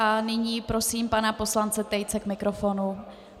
A nyní prosím pana poslance Tejce k mikrofonu.